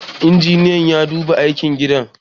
injiniyan ya duba aikin gidan